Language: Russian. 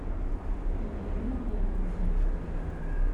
елена германовна